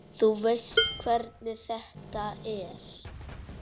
Þú veist hvernig þetta er.